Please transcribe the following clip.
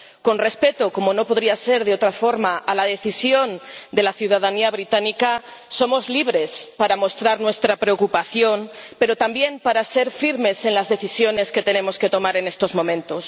Con respeto, como no podría ser de otra forma, a la decisión de la ciudadanía británica, somos libres para mostrar nuestra preocupación, pero también para ser firmes en las decisiones que tenemos que tomar en estos momentos.